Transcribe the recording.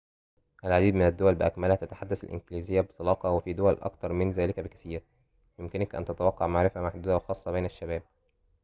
العديد من الدول بأكملها تتحدث الإنكليزية بطلاقةٍ وفي دول أكثر من ذلك بكثيرٍ يمكنك أن تتوقع معرفةً محدودةً وخاصةً بين الشباب